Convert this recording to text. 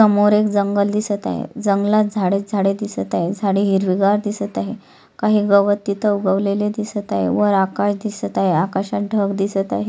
समोर एक जंगल दिसत आहे जंगलात झाडेच झाड दिसत आहे झाडे हिरवीगार दिसत आहे काही गवत तिथ उगवलेले दिसत आहे वर आकाश दिसत आहे आकाशात ढग दिसत आहे.